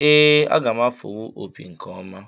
Ee, aga m afụwu opi nke ọma